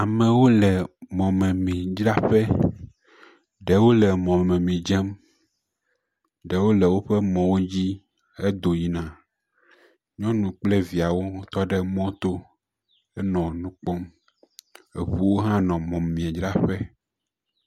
Amewo le mɔmemidzraƒe, ɖewo le mɔmemi dzem, ɖewo le woƒe mɔwo dzi hedo yina, nyɔnu kple viawo to ɖe mɔto henɔ nu kpɔm, eŋuwo hãnɔ mɔmemi dzraƒe.